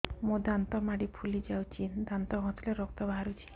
ମୋ ଦାନ୍ତ ମାଢି ଫୁଲି ଯାଉଛି ଦାନ୍ତ ଘଷିଲେ ରକ୍ତ ବାହାରୁଛି